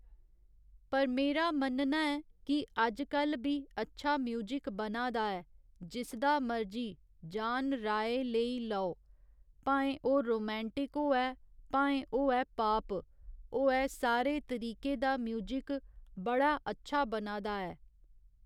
पर मेरा मन्नना ऐ कि अजकल बी अच्छा म्युजिक बना दा ऐ जिसदा मर्जी जान राय लेई लेओ भाएं ओह् रोमैंटिक होऐ भाएं ओऐ पाॅप होऐ सारे तरीके दा म्युजिक बड़ा अच्छा बना दा ऐ